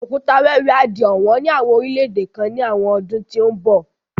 Òkúta wẹ́wẹ́ á di ọ̀wọ́n ní àwọn orílẹ̀ èdè kan ní àwọn ọdún tó ń bo